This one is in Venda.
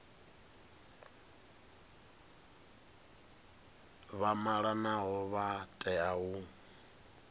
vha malanaho vha tea u